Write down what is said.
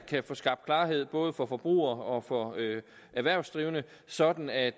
kan få skabt klarhed både for forbrugere og for erhvervsdrivende sådan at